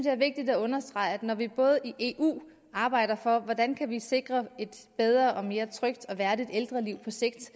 er vigtigt at understrege når vi i eu arbejder for hvordan vi kan sikre et bedre og mere trygt og værdigt ældreliv på sigt